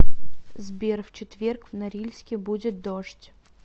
сбер в четверг в норильске будет дождь